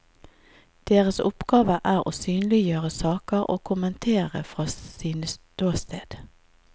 Deres oppgave er å synliggjøre saker og kommentere fra sine ståsted.